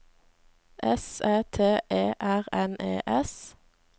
S Æ T E R N E S